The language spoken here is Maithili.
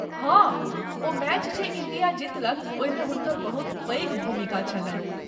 हाँ , ओ मैच जे इण्डिया जीतलक ओहिमे हुनकर बहुत पैघ भूमिका छलैन।